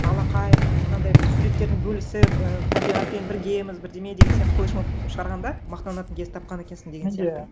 алақай менің мынандай бір суреттерін бөлісіп і табиғатпен біргеміз бірдеме деген сияқты флешмоб шығарғанда мақтанатын кез тапқан екенсің деген сияқты